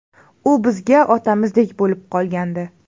U bizga otamizdek bo‘lib qolgandi.